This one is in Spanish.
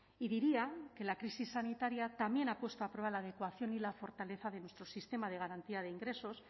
y diría que la crisis sanitaria también ha puesto a prueba la adecuación y la fortaleza de nuestro sistema de garantía de ingresos